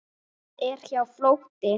Það er hjá fljóti.